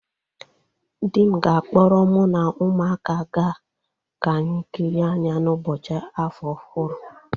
Di m ga-akpọrọ mu na umuaka ga ka anyi kịrịe anya n'ụbọchị afọ ọhụrụ